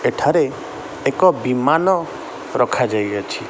ଏଠାରେ ଏକ ବିମାନ ରଖାଯାଇଅଛି ।